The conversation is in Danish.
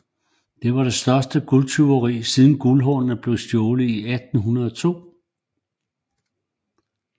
Det var det største guldtyveri siden Guldhornene blev stjålet i 1802